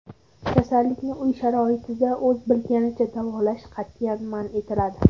Kasallikni uy sharoitida o‘z bilganicha davolash qat’iyan man etiladi .